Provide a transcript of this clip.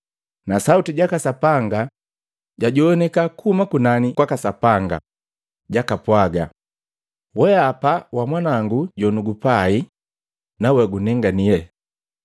Na sauti jaka Sapanga jajoanika kuhuma kunani kwaka Sapanga jakapwaga, “Wenga wa Mwanango jonugupai, we gunenganile.”